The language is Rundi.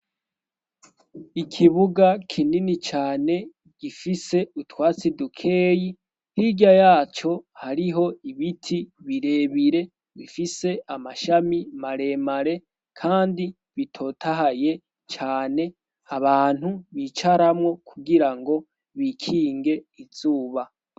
Ikibuga kinini cane gifise utwatsidukeyi hirya yaco hariho ibiti birebire bifise amashami maremare, kandi bitotahaye cane abantu bicaramwo kugira ngo bikinge izuba.